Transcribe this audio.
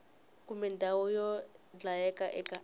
kumbe ndhawu yo dlayela eka